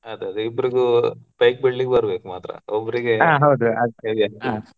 ಅದೇ ಅದೇ ಇಬ್ರಿಗೂ bike ಬಿಡ್ಲಿಕ್ಕೆ ಬರಬೇಕು ಮಾತ್ರ heavy ಆಗ್ತದೆ.